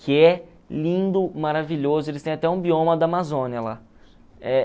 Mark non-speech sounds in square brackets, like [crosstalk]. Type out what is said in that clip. que é lindo, maravilhoso, eles têm até um bioma da Amazônia lá. [unintelligible]